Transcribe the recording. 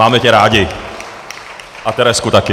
Máme tě rádi a Terezku také.